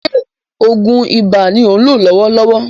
Ṣé oògùn ibà ni ò ń lò lọ́wọ́lọ́wọ́?